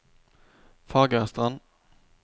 Fagerstrand